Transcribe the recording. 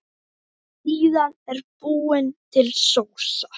Síðan er búin til sósa.